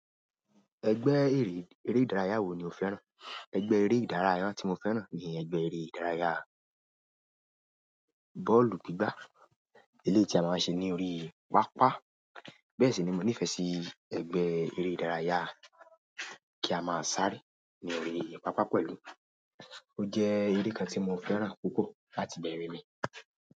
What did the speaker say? Ẹgbẹ́ eré, eré ìdárayá wo ni o fẹ́ràn? Ẹgbẹ́ eré ìdárayá tí mo fẹ́ràn ni ẹgbẹ́ eré ìdárayá bọ́ọ̀lù gbígbá. Elétì a máa ń ṣe ní orí pápá. Bẹ́ẹ̀ sì ni mo nífẹ̀ẹ́ sí ẹgbẹ́ eré ìdárayá kí a máa sárẹ́ ní orí pápá pẹ̀lú. Ó jẹ́ eré kan tí mo fẹ́ràn púpọ̀ láti bẹ̀rẹ̀ mi.